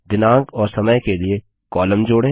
दिनांक और समय के लिए कॉलम जोड़ें